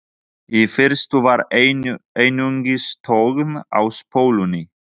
Í fyrstu var einungis þögn á spólunni.